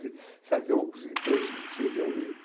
Será que eu vou conseguir transmitir realmente?